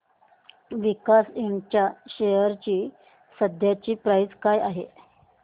Visaka Ind च्या share ची सध्याची प्राइस काय आहे